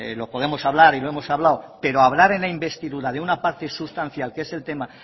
lo podemos hablar y lo hemos hablado pero hablar en la investidura de una parte sustancial que es el tema